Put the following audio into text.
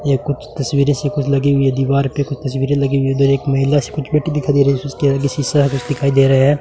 ये कुछ तस्वीरे सी कुछ लगी हुई है दीवार पे कुछ तस्वीरे लगी हुई हैं उधर एक महिला सी कुछ बैठी दिखाई दे रही है उसके आगे शीशा कुछ दिखाई दे रहा है।